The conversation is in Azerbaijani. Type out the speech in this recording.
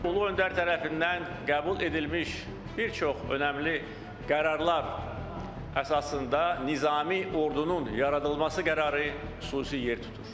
Ulu öndər tərəfindən qəbul edilmiş bir çox önəmli qərarlar əsasında Nizami Ordunun yaradılması qərarı xüsusi yer tutur.